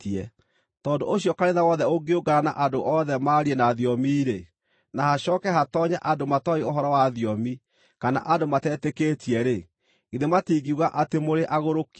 Tondũ ũcio kanitha wothe ũngĩũngana na andũ othe maarie na thiomi-rĩ, na hacooke hatoonye andũ matooĩ ũhoro wa thiomi, kana andũ matetĩkĩtie-rĩ, githĩ matingiuga atĩ mũrĩ agũrũki?